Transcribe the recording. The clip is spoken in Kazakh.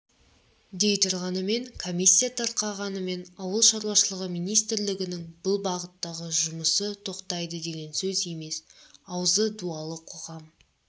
дей тұрғанмен комиссия тарқағанымен ауылшаруашылығы министрлігінің бұл бағыттағы жұмысы тоқтайды деген сөз емес аузы дуалы қоғам